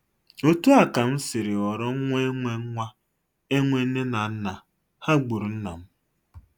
Otú a ka m siri ghọrọ nwa enwe nwa enwe nne na nna,- ha gburu nna m.